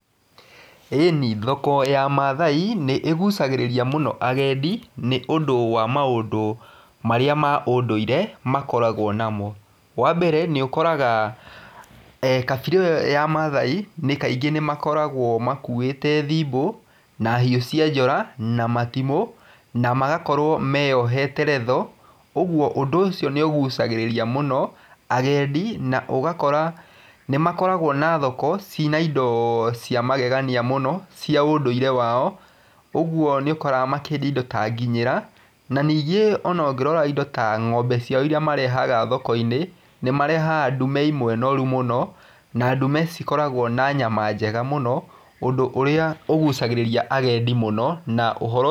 Ĩni thoko ya Mathai nĩĩgũcagĩrĩria mũno agendi nĩũndũ wa maũndũ marĩa ma ũndũire makoragwo namo, wambere nĩũkoraga kabira ĩyo ya Mathai kaingĩ nĩmakoragwo makuĩte thibo na hiũ cia njora na matimũ na magakorwo meohete retho, ũguo ũndũ ũcio nĩũgũcagĩrĩria mũno agendi na ũgakora nĩmakoragwwa na thoko cina indo cia magegania mũno cia ũndũire wao, ũguo nĩũkoraga makĩendia indo ta nginyĩra na ningĩ ona ũngĩrora indo ta ng'ombe ciao iria marehaga thokoinĩ nĩmarehaga ndũme imwe noru mũno na ndume cikoragwo na nyama njega mũno ũndũ ũrĩa ũgucagĩrĩria agendi mũno.